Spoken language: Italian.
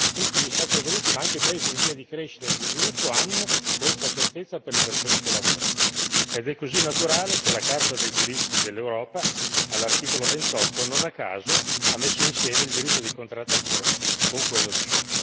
Tutti gli Stati evoluti, ma anche i paesi in via di crescita e di sviluppo, hanno questa certezza per le persone che lavorano ed è così naturale che la Carta dei diritti dell'Europa, all'articolo 28, non a caso ha messo insieme il diritto di contrattazione con quello di